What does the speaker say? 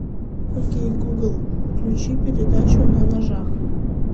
окей гугл включи передачу на ножах